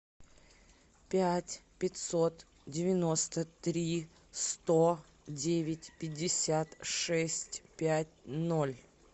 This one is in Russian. пять пятьсот девяносто три сто девять пятьдесят шесть пять ноль